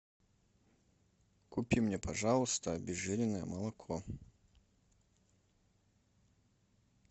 купи мне пожалуйста обезжиренное молоко